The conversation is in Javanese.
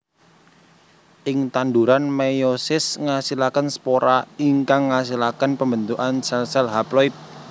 Ing tanduran meiosis ngasilaken spora ingkang ngasilaken pembentukan sel sel haploid